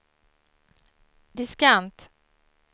diskant